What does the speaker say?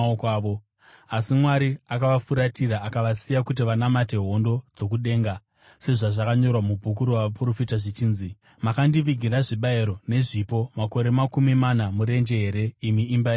Asi Mwari akavafuratira akavasiya kuti vanamate hondo dzokudenga, sezvazvakanyorwa mubhuku ravaprofita zvichinzi: “ ‘Makandivigira zvibayiro nezvipo makore makumi mana murenje here, imi imba yaIsraeri?